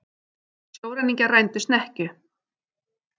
Sjóræningjar rændu snekkju